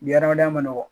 Adamadenya ma nɔgɔn